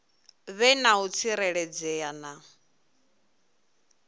vhe na u tsireledzea na